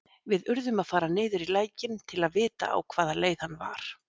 Við urðum að fara niður í lækinn til að vita á hvaða leið hann var.